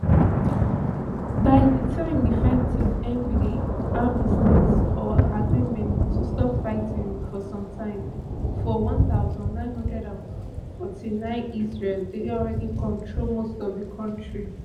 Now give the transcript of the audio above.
by di time di fighting end wit armistice or agreement to stop fighting for sometime for one thousand, nine hundred and forty-nine israel dey already control most of di territory